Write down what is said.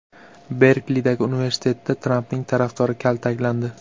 Berklidagi universitetda Trampning tarafdori kaltaklandi.